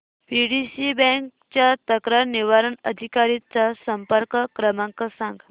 PDCC bank च्या तक्रार निवारण अधिकारी चा संपर्क क्रमांक सांग